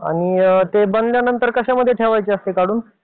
ते बनल्यानंतर कशामध्ये ठेवायचे असतात काढून?